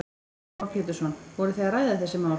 Heimir Már Pétursson: Voru þið að ræða þessi mál?